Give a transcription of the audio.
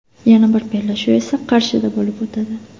Yana bir bellashuv esa Qarshida bo‘lib o‘tadi.